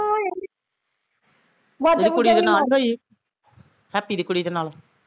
ਇਹਦੀ ਕੁੜੀ ਦੇ ਨਾਲ਼ ਹੋਈ ਹੈਪੀ ਦੀ ਕੁੜੀ ਦੇ ਨਾਲ਼